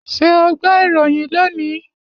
Ṣé o gbọ́ ìròyìn lónìí?